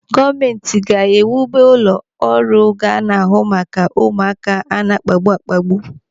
Gọọmenti ga-iwube ụlọ ọrụ ga-ana ahụ maka ụmụaka a na-akpagbu akpagbu.